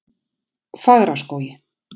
Fagraskógi